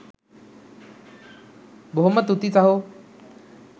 බොහොම තුති සහෝ